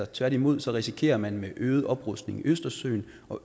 tværtimod risikerer man med øget oprustning i østersøen